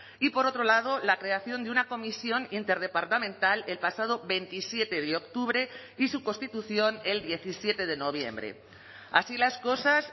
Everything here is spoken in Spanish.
y por otro lado la creación de una comisión interdepartamental el pasado veintisiete de octubre y su constitución el diecisiete de noviembre así las cosas